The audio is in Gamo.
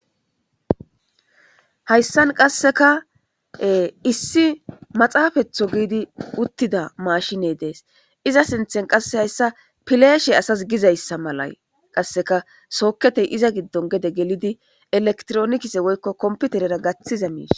Hayssan qasseka issi maxaafetho giidi uttida mashiney dees iza sinthen qasse hayssa pileeshe asas gizayssa mala qasseka sooketey iza giddon gede gelidi elektronikise woykko komputerera gaththiza miis.